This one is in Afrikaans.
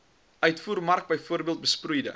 uitvoermark bv besproeide